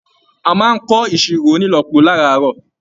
A máa n kọ iṣiro ònílọ́po láràárọ̀.